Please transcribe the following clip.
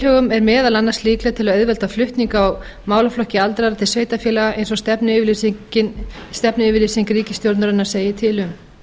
tilhögun er meðal annars líkleg til að auðvelda flutning á málaflokki aldraðra til sveitarfélaga eins og stefnuyfirlýsing ríkisstjórnarinnar segir til um